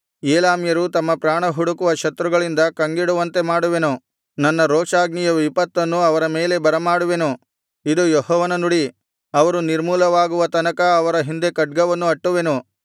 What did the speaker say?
ಏಲಾಮ್ಯರು ತಮ್ಮ ಪ್ರಾಣಹುಡುಕುವ ಶತ್ರುಗಳಿಂದ ಕಂಗೆಡುವಂತೆ ಮಾಡುವೆನು ನನ್ನ ರೋಷಾಗ್ನಿಯ ವಿಪತ್ತನ್ನು ಅವರ ಮೇಲೆ ಬರಮಾಡುವೆನು ಇದು ಯೆಹೋವನ ನುಡಿ ಅವರು ನಿರ್ಮೂಲವಾಗುವ ತನಕ ಅವರ ಹಿಂದೆ ಖಡ್ಗವನ್ನು ಅಟ್ಟುವೆನು